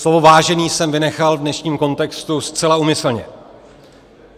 Slovo "vážený" jsem vynechal v dnešním kontextu zcela úmyslně.